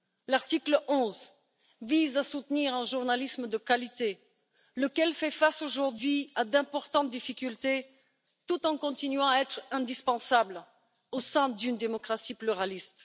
L'article 11 vise à soutenir un journalisme de qualité, lequel fait face aujourd'hui à d'importantes difficultés, tout en continuant à être indispensable au sein d'une démocratie pluraliste.